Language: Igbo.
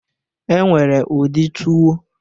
E nwere ụdị tuwo